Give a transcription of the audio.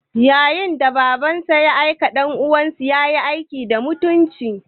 Yayin da Babansa ke aikin ɗansanda, ya yi aiki da mutunci.